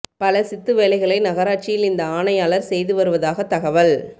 பல சித்து வேலைகளை நகராட்சியில் இந்த ஆணையாளர் செய்து வருவதாக தகவல்